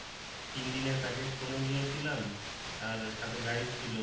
তিন দিনের package করে নিয়েছিলাম আর সাথে guide ছিল